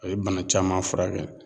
A ye bana caman furakɛ